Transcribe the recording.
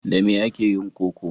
Da me ake yin koko?